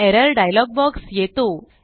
error dialogue box येतो